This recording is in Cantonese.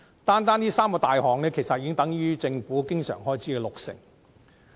單單這三大項目的支出，其實已等於政府經常性開支總額的六成。